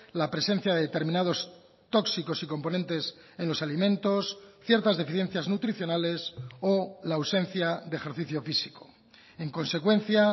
la presencia de determinados tóxicos y componentes en los alimentos ciertas deficiencias nutricionales o la ausencia de ejercicio físico en consecuencia